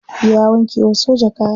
Ya wanke wa soja kaya.